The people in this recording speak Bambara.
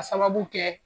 Ka sababu kɛ